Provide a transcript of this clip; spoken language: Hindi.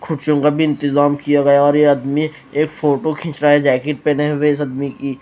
खुशियों का भी इंतजाम किया गया और ये आदमी एक फोटो खींच रहा है जैकेट पहने हुए इस आदमी की।